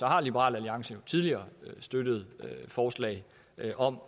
har liberal alliance jo tidligere støttet forslag om